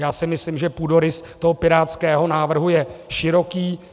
Já si myslím, že půdorys toho pirátského návrhu je široký.